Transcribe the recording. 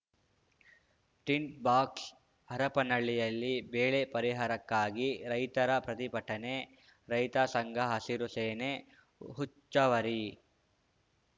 tint box ಹರಪನಹಳ್ಳಿಯಲ್ಲಿ ಬೇಳೆ ಪರಿಹಾರಕ್ಕಾಗಿ ರೈತರ ಪ್ರತಿಭಟನೆ ರೈತ ಸಂಘ ಹಸಿರು ಸೇನೆ ಹುಚ್ಚವ್ವರಿ